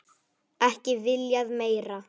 Ekki viljað meira.